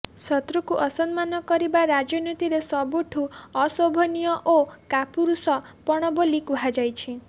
ଶତ୍ରୁକୁ ଅସମ୍ମାନ କରିବା ରାଜନୀତିରେ ସବୁଠୁ ଅଶୋଭନୀୟ ଓ କାପୁରୁଷପଣ ବୋଲି କୁହାଯାଇଛି